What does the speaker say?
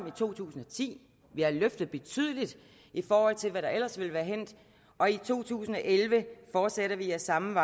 i to tusind og ti vi har løftet betydeligt i forhold til hvad der ellers ville være hændt og i to tusind og elleve fortsætter vi ad samme vej